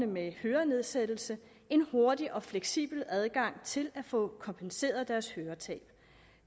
med hørenedsættelse en hurtig og fleksibel adgang til at få kompenseret deres høretab